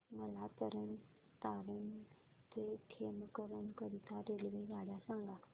मला तरण तारण ते खेमकरन करीता रेल्वेगाड्या सांगा